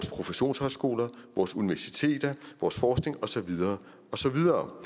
professionshøjskoler og universiteter og forskning og så videre og så videre